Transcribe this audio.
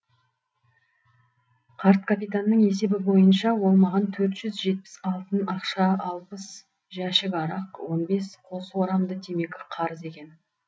қарт капитанның есебі бойынша ол маған төрт жүз жетпіс алтын ақша алпыс жәшік арақ он бес қос орамды темекі қарыз екен